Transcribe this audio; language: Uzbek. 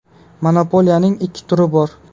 Monopoliyaning ikkita turi bor.